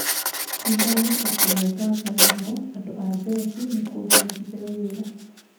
"Nĩndĩramacokeria ngatho mũno andũ a jeshi nĩ kũhe Mbithe wĩra".